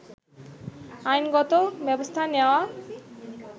আইনগত ব্যবস্থা নেয়া